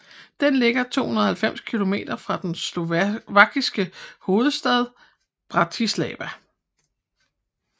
Den ligger 290 kilometer fra den slovakiske hovedstad Bratislava